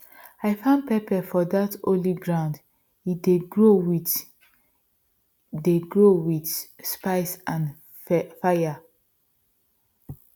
i farm pepper for dat holy ground e dey grow wit dey grow wit spice and faya